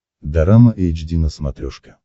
дорама эйч ди на смотрешке